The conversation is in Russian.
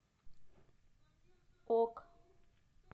ок